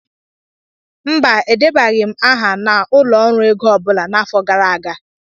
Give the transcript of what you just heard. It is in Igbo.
mba, Edebaghị m aha na ụlọ ọrụ ego ọ bụla n'afọ gara aga